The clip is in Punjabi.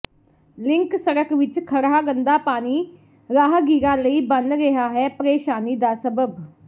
ਲਿੰਕ ਸੜਕ ਵਿਚ ਖੜ੍ਹਾ ਗੰਦਾ ਪਾਣੀ ਰਾਹਗੀਰਾਂ ਲਈ ਬਣ ਰਿਹਾ ਹੈ ਪ੍ਰੇਸ਼ਾਨੀ ਦਾ ਸਬੱਬ